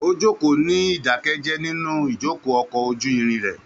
Ó jókòó ní ìdákẹ́jẹ́ẹ́ nínú ìjókòó ọkọ̀ ojú irin rẹ̀.